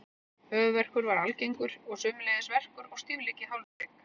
Höfuðverkur var algengur og sömuleiðis verkur og stífleiki í hálshrygg.